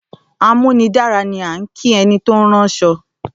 ‘Amúnidára’ ni à ń kí e̩ni tó ń ráns̩o̩